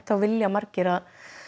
vilja margir að